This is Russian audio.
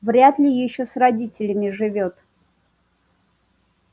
вряд ли ещё с родителями живёт